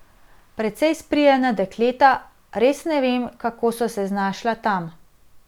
Precej sprijena dekleta, res ne vem, kako so se znašla tam.